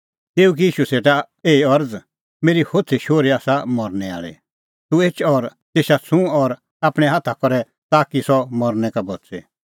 तेऊ की ईशू सेटा एही अरज़ मेरी होछ़ी शोहरी आसा मरनै आल़ी तूह एछ और तेसा छ़ुंह आपणैं हाथा करै ताकि सह मरनै का बच़े